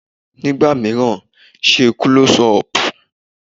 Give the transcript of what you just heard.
Ní ìgbà míràn, ṣe Klọ́sí ọpù.